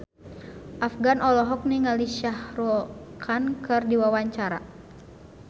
Afgan olohok ningali Shah Rukh Khan keur diwawancara